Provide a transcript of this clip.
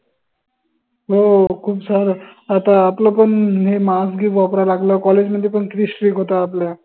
हो खूप झालं आता आपलं पन हे mask जी वापर लागलं College मध्ये पन किती strict होत आपल्या